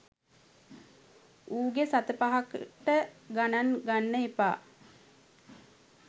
උගේ සත පහකට ගණන් ගන්න එපා